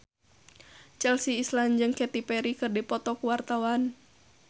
Chelsea Islan jeung Katy Perry keur dipoto ku wartawan